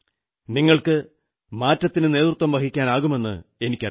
നിങ്ങൾക്ക് മാറ്റത്തിനു നേതൃത്വം വഹിക്കാനാകുമെന്നെനിക്കറിയാം